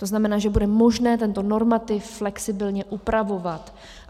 To znamená, že bude možné tento normativ flexibilně upravovat.